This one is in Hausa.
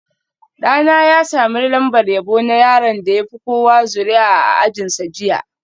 Ɗana ya sami lambar yabo na yaron da ya fi kowa zuri'a a ajinsa jiya